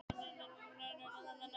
Háttvísin kemur í veg fyrir það.